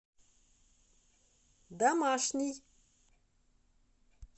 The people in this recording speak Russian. домашний